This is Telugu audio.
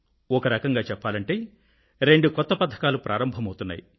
ఒక రకంగా చెప్పాలంటే రెండు కొత్త పథకాలు ప్రారంభమవుతున్నాయి